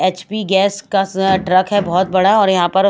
HP gas का स truck है बहोत बड़ा और यहाँ पर--